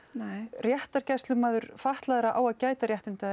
réttargæslumaður fatlaðra á að gæta réttinda þeirra